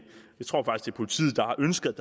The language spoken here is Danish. politiet der har ønsket